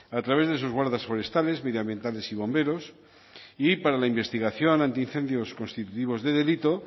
a través de sus guardas forestales medioambientales y bomberos y para la investigación antiincendios constitutivos de delito